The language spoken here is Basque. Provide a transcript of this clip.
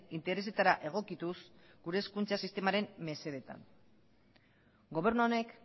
interesetara egokituz gure hezkuntza sistemaren mesedetan gobernu honek